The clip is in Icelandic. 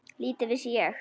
Lítið vissi ég.